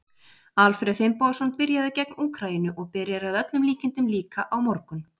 Alfreð Finnbogason byrjaði gegn Úkraínu og byrjar að öllum líkindum líka á morgun.